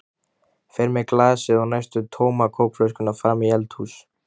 Fer með glasið og næstum tóma kókflöskuna fram í eldhús.